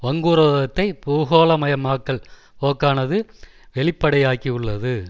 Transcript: வங்குரோதத்தை பூகோளமயமாக்கல் போக்கானது வெளிப்படையாக்கியுள்ளது